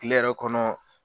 Tileyɔrɔ kɔnɔ